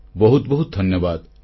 ବହୁତ ବହୁତ ଧନ୍ୟବାଦ